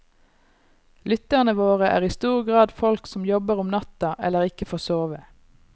Lytterne våre er i stor grad folk som jobber om natta eller ikke får sove.